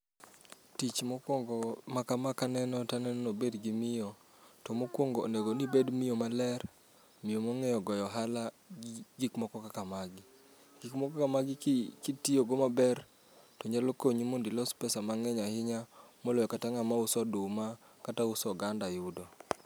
Tich mokwongo ma kama kaneno taneno nober gi miyo. To mokwongo onego nibed miyo malerm, miyo mong'eyo goyo ohala gi gik moko kaka magi. Gik moko kaka magi ki kitiyogo maber to nyalo konyi mondilos pesa mang'eny ahinya, moloyo kata ng'ama uso oduma, kata uso oganda yudo.